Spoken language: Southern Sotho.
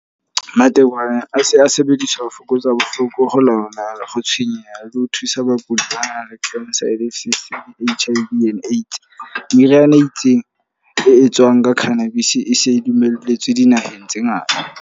Matekwane a se a sebediswa ho fokotsa bohloko ho lona. Le ho tshwenyeha, le thusa bakudi banang le le H_I_V and AIDS. Meriana e itseng, e etswang ka cannabis e se e dumelletswe dinaheng tse ngata.